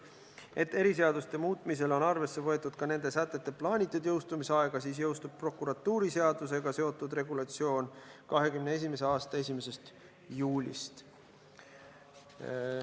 Et eriseaduste muutmisel on arvesse võetud ka nende sätete plaanitud jõustumisaega, siis jõustub prokuratuuriseadusega seotud regulatsioon 2021. aasta 1. juulist.